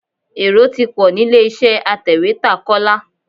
Èrò ti pọ̀ nílé-iṣẹ́ atẹ̀wétà Kọ́lá.